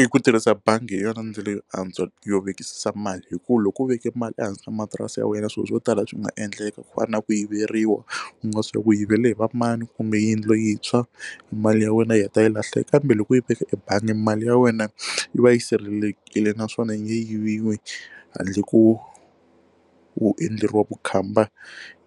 I ku tirhisa bangi hi yona ndlela yo antswa yo vekisisa mali hi ku loko u veke mali ehansi ka matirasi ya wena swilo swo tala leswi nga endleka ku fana na ku yiveriwa u nga swi ku yivela hi va mani kumbe yindlu yi tshwa mali ya wena yi heta yi lahla kambe loko yi veka ebangi mali ya wena yi va yi sirhelelekile naswona yiviwe handle ko u endleriwa vukhamba